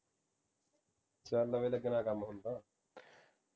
ਚੱਲ ਵੀ ਲਗਣਾ ਕੰਮ ਹੁਣ ਤਾ